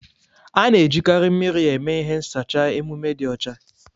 A na ejikarị mmiri eme ihe n sacha emume dị ọcha.